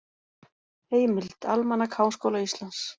Heimild: Almanak Háskóla Íslands.